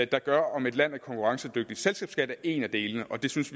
der gør om et land er konkurrencedygtigt selskabsskat er en af delene og vi synes